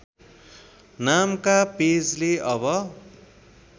नामका पेजले अब